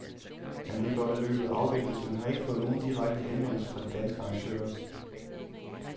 Han ved godt, at løbet afvikles, men har ikke fået nogen direkte henvendelse fra de danske arrangører.